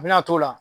A bɛna a t'o la